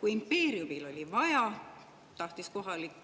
Kui impeeriumil oli vaja, tahtis kohalik